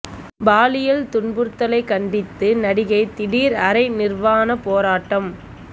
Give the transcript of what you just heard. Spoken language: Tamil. பாலியல் துன்புறுத்தலைக் கண்டித்து நடிகை திடீர் அரை நிர்வாண போராட்டம்